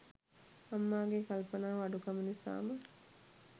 අම්මාගේ කල්පනාව අඩුකම නිසාම